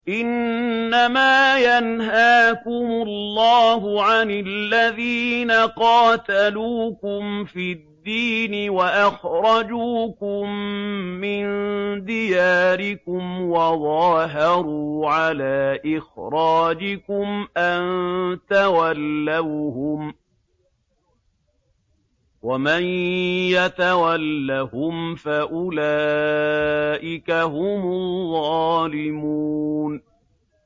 إِنَّمَا يَنْهَاكُمُ اللَّهُ عَنِ الَّذِينَ قَاتَلُوكُمْ فِي الدِّينِ وَأَخْرَجُوكُم مِّن دِيَارِكُمْ وَظَاهَرُوا عَلَىٰ إِخْرَاجِكُمْ أَن تَوَلَّوْهُمْ ۚ وَمَن يَتَوَلَّهُمْ فَأُولَٰئِكَ هُمُ الظَّالِمُونَ